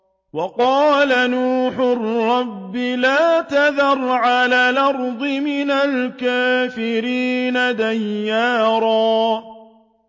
وَقَالَ نُوحٌ رَّبِّ لَا تَذَرْ عَلَى الْأَرْضِ مِنَ الْكَافِرِينَ دَيَّارًا